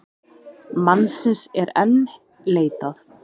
Mannsins er enn leitað.